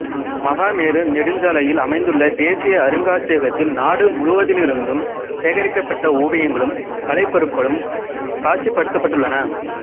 மகாமேரு நெடுஞ்சாலையில் அமைந்துள்ள தேசிய அருங்காட்சியகத்தில் நாடு முழுமையிலிருந்தும் சேகரிக்கப்பட்ட ஓவியங்களும் கலைப்பொருட்களும் காட்சிப்படுத்தப்பட்டுள்ளன